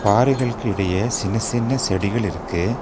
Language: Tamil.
பாறைகளுக்கு இடையே சின்ன சின்ன செடிகள் இருக்கு.